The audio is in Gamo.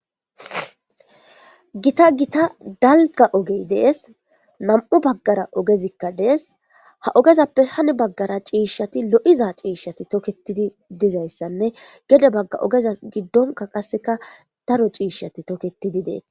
Gita gita dalga ogey dees nam7u baggara ogezikka dees ha ogezappe hani baggara ciishshati lo7iza ciishshati tokketidi dizayssanne gede bagga ogeza giddonka qasseka daro ciishshati toketidi deet.